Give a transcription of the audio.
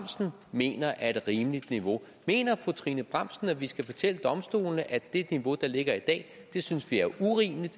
mener er et rimeligt niveau mener fru trine bramsen at vi skal fortælle domstolene at det niveau der ligger i dag synes vi er urimeligt